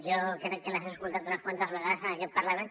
jo crec que les he escoltat unes quantes vegades en aquest parlament